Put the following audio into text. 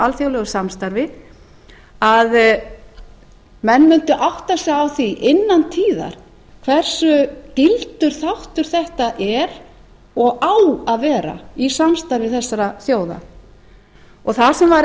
alþjóðlegu samstarfi að menn mundu átta sig á því innan tíðar hversu gildur þáttur þetta er og á að vera í samstarfi þessara þjóða það sem var